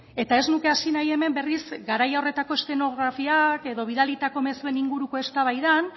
eta ez nuke hasi nahi hemen berriz garai horretako eszenografiak edo bidalitako mezuen inguruko eztabaidan